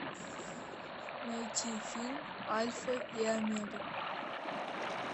найти фильм альфа и омега